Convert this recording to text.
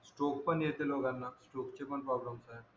stroke पण येते लोकांना स्ट्रोक चे पण प्रॉब्लेम आहेत